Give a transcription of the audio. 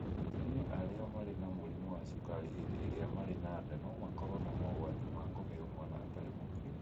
Atumia arĩa marĩ na mũrimũ wa cukari hĩndĩ ĩrĩa marĩ na nda no makorũo na mogwati ma kũheo mwana atari mũkinyu.